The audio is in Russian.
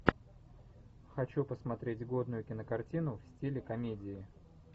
хочу посмотреть годную кинокартину в стиле комедии